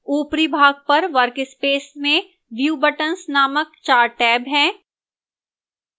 ऊपरी भाग पर workspace में view buttons नामक 4 टैब हैं